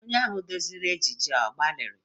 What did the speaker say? Onye ahụ duziri ejije a ọ gbalịrị?